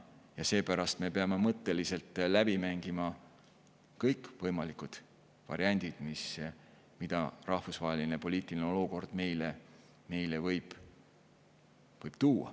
Seepärast me peame mõtteliselt läbi mängima kõik võimalikud variandid, mida rahvusvaheline poliitiline olukord võib meile tuua.